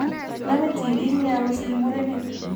Nome tibiik nia kosir murenik.